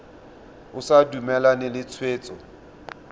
o sa dumalane le tshwetso